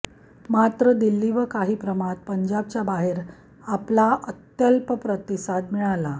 मात्र दिल्ली व काही प्रमाणात पंजाबच्या बाहेर आपला अत्यल्प प्रतिसाद मिळाला